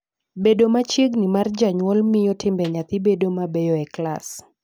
Bedo machiegni mar janyuol miyo timbe nyathi bedo mabeyo e klas.